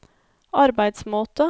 arbeidsmåte